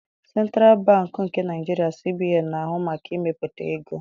Sentralụ Bankị nke Naịjirịa (CBN) na-ahụ maka imepụta ego